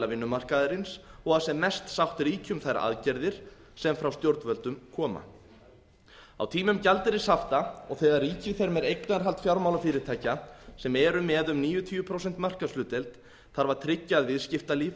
vinnumarkaðarins og að sem mest sátt ríki um þær aðgerðir sem frá stjórnvöldum koma á tímum gjaldeyrishafta og þegar ríkið fer með eignarhald fjármálafyrirtækja sem eru með um níutíu prósenta markaðshlutdeild þarf að tryggja að viðskiptalíf